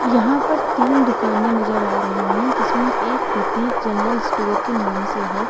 यहां पर तीन दुकाने नजर आ रही हैं। जिसमे एक प्रतीक जनरल स्टोर के नाम से है।